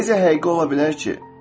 Necə həqiqi ola bilər ki?